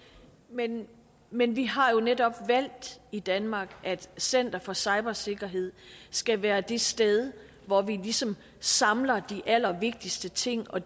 men men vi har jo netop valgt i danmark at center for cybersikkerhed skal være det sted hvor vi ligesom samler de allervigtigste ting og